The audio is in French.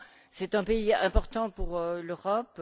C'est un pays important pour l'Europe.